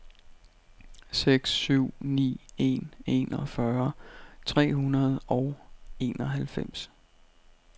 seks syv ni en enogfyrre tre hundrede og enoghalvfems